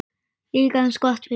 Líka eins gott fyrir hann.